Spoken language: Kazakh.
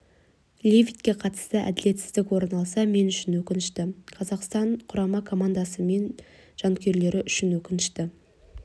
левитке қатысты әділетсіздік орын алса мен үшін өкінішті қазақстан құрама командасы мен жанкүйерлері үшін өкінішті